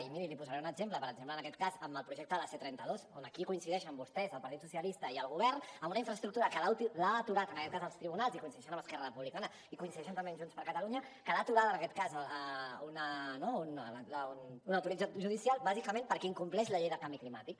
i miri li posaré un exemple per exemple en aquest cas amb el projecte de la c trenta dos on aquí coincideixen vostès el partit socialistes i el govern en una infraestructura que l’han aturat els tribunals i coincideixen amb esquerra republicana i coincideixen també amb junts per catalunya que l’ha aturada una autoritat judicial bàsicament perquè incompleix la llei del canvi climàtic